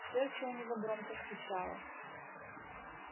сердце у него громко стучало